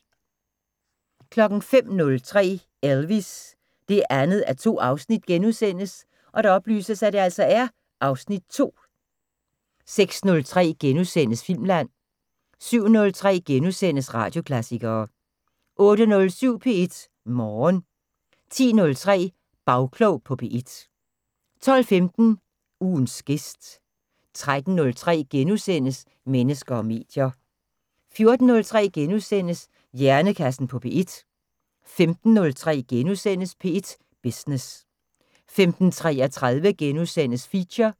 05:03: Elvis: 2:2 (Afs. 2)* 06:03: Filmland * 07:03: Radioklassikere * 08:07: P1 Morgen 10:03: Bagklog på P1 12:15: Ugens gæst 13:03: Mennesker og medier * 14:03: Hjernekassen på P1 * 15:03: P1 Business * 15:33: Feature *